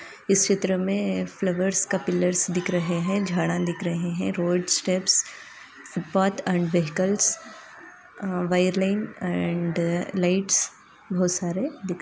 इस चित्र में फ्लावर्स का पिल्लर्स दिख रहे है झाड़ा दिख रहे है road steps path and vehicles विरेलिनेस एंड लाइट्स वो सारे दिख रहे --